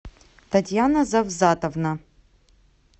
татьяна завзатовна